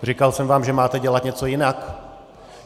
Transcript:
Říkal jsem vám, že máte dělat něco jinak?